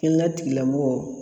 Kɛnla tigilamɔgɔw